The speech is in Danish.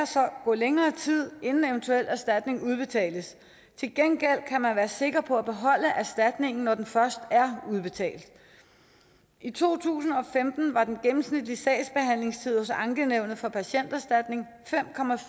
sager gå længere tid inden en eventuel erstatning udbetales til gengæld kan man være sikker på at beholde erstatningen når den først er udbetalt i to tusind og femten var den gennemsnitlige sagsbehandlingstid hos ankenævnet for patienterstatningen fem